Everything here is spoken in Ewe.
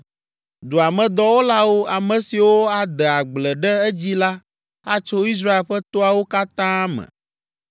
Dua me dɔwɔlawo, ame siwo ade agble ɖe edzi la atso Israel ƒe toawo katã me.